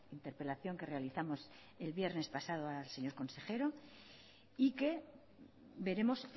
interpelación que realizamos el viernes pasado al señor consejero y que veremos